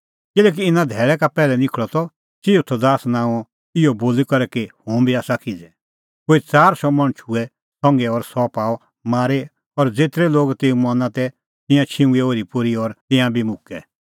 किल्हैकि इना धैल़ै का पैहलै निखल़अ त थिऊदास नांओं मणछ इहअ बोली करै कि हुंबी आसा किज़ै कोई च़ार शौ मणछ हुऐ तेऊ संघै और सह पाअ मारी और ज़ेतरै लोग तेऊ मना तै तिंयां छिंघुऐ ओरीपोरी और तिंयां बी मुक्कै